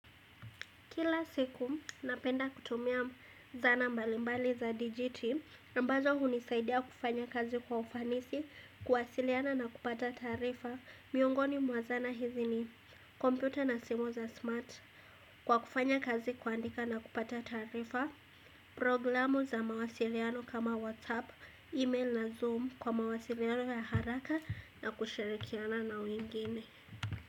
Kila siku napenda kutumia zana mbalimbali za DGT ambazo hunisaidia kufanya kazi kwa ufanisi, kuwasiliana na kupata taarifa miungoni mwa zana hizi ni computer na simu za smart Kwa kufanya kazi, kuandika na kupata taarifa. Programu za mawasiliano kama WhatsApp, email na Zoom kwa mawasiliano ya haraka na kushirikiana na wengine.